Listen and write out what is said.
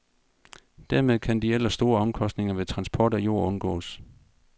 Dermed kan de ellers store omkostninger ved transport af jord undgås.